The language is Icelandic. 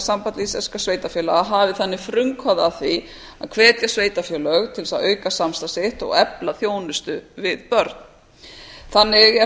samband íslenskra sveitarfélaga hafi þannig frumkvæði að því að hvetja sveitarfélög til þess að auka samstarf sitt og efla þjónustu við börn þannig er hægt